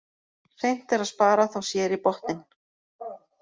Seint er að spara þá sér í botninn.